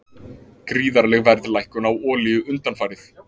Gríðarleg verðlækkun á olíu undanfarið